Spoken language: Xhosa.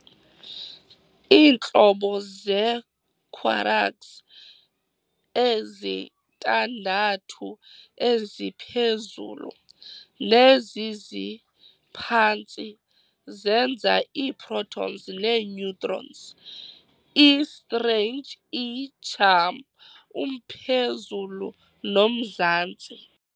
Iintlobo zee-quraks ezintandathu eziphezulu, neziziphantsi, zenza ii-protons nee-neutrons, ii-strange, ii-charm, umphezulu, nomzantsi.